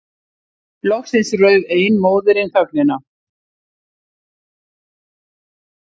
Loksins rauf ein móðirin þögnina.